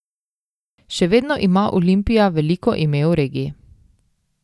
Še vedno ima Olimpija veliko ime v regiji.